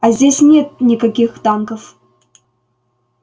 а здесь нет никаких танков